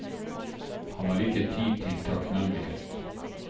Han har ikke tid til takknemlighet.